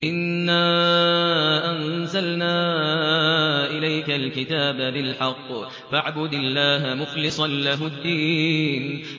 إِنَّا أَنزَلْنَا إِلَيْكَ الْكِتَابَ بِالْحَقِّ فَاعْبُدِ اللَّهَ مُخْلِصًا لَّهُ الدِّينَ